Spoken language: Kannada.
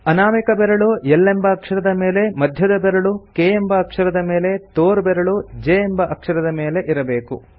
ಅನಾಮಿಕ ಬೆರಳು L ಎಂಬ ಅಕ್ಷರದ ಮೇಲೆ ಮಧ್ಯದ ಬೆರಳು K ಎಂಬ ಅಕ್ಷರದ ಮೇಲೆ ತೋರ್ಬೆರಳು J ಎಂಬ ಅಕ್ಷರದ ಮೇಲೆ ಇರಬೇಕು